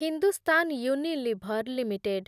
Hindustan Unilever limited